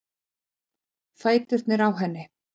Fæturnir á henni.